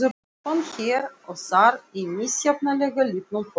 Telpan hér og þar í misjafnlega litlum fókus.